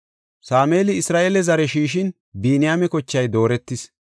Sameeli Isra7eele zare shiishin, Biniyaame kochay dooretis.